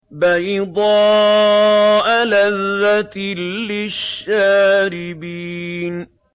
بَيْضَاءَ لَذَّةٍ لِّلشَّارِبِينَ